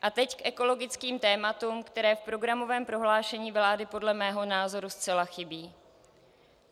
A teď k ekologickým tématům, která v programovém prohlášení vlády podle mého názoru zcela chybí.